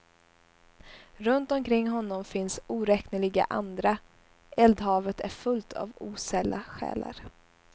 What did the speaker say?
Runt omkring honom finns oräkneliga andra, eldhavet är fullt av osälla själar.